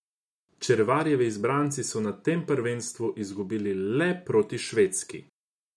Červarjevi izbranci so na tem prvenstvu izgubili le proti Švedski.